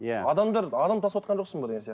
иә адамдар адам тасыватқан жоқсың ба деген сияқты